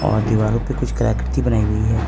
और दीवारों पे कुछ कलाकृति बनाई हुई है।